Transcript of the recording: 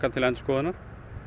til endurskoðunar